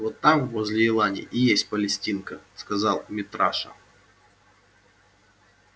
вот там возле елани и есть палестинка сказал митраша